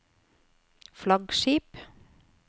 flaggskip